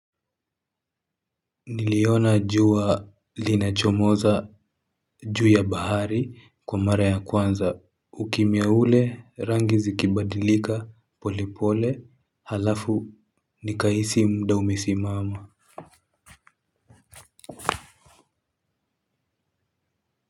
Niliona jua linachomoza juu ya bahari kwa mara ya kwanza ukimia ule rangi zikibadilika polipole halafu nikahisi muda umesimama.